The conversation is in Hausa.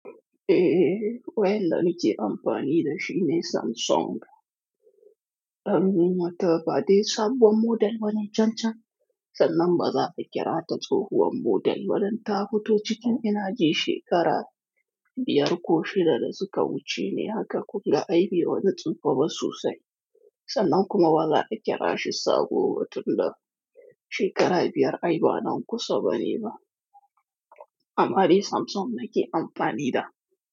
Eh waya da nike amfani da shi ne Samsung. Ɓar ni mata ba dai sabon model bane can can, sannan ba za a kira ta tsohuwar model ba dan ta fito cikin ina ji shekara biyar ko shida da suka wuce ne haka kunga ai bai wani tsufa ba sosai. Sannan kuma ba za a kira shi sabo ba tunda shekara biyar aiba nan kusa bane ba. Amma ni Samsung nake amfani da.